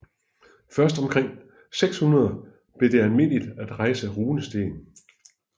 Først omkring 600 blev det almindeligt at rejse runesten